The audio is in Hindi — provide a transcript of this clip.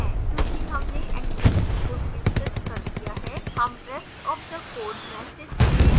चूँकि हमने exception को नियंत्रित कर दिया है हम rest of the code message देख सकते हैं